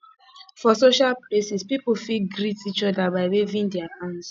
for social places pipo fit greet each other by waving their hands